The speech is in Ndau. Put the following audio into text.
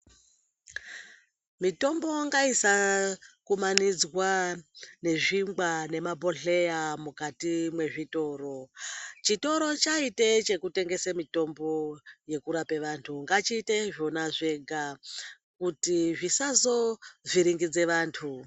Mitombo ngaisaakumanidzwa nezvingwa nemabhodhleya mukati mwezvitoro. Chitoro chaite chekutengese mitombo yekurape vantu, ngachiite zvona zvega, kuti zvisazovhiringidze vantu.